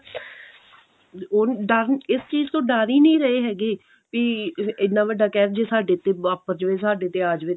ਉਹ ਡਰ ਇਸ ਚੀਜ਼ ਤੋਂ ਡਰ ਹੀ ਨਹੀਂ ਰਹੇ ਹੈਗੇ ਵੀ ਇੰਨਾ ਵੱਡਾ ਕਿਹ ਜੇ ਸਾਡੇ ਤੇ ਵਾਪਰ ਜਾਵੇ ਸਾਡੇ ਤੇ ਆ ਜਵੇ